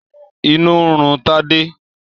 Inú ń run Tádé.